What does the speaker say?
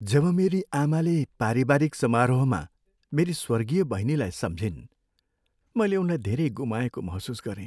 जब मेरी आमाले पारिवारिक समारोहमा मेरी स्वर्गीय बहिनीलाई सम्झिन्, मैले उनलाई धेरै गुमाएको महसुस गरेँ।